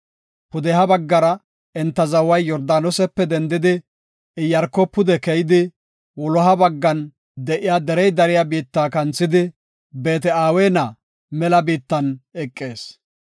Pudeha baggara enta zaway Yordaanosepe dendidi, Iyaarko pude keyidi, wuloha baggan de7iya derey dariya biitta kanthidi, Beet-Aweena mela biittan eqees.